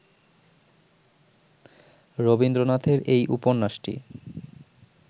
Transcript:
রবীন্দ্রনাথের এই উপন্যাসটি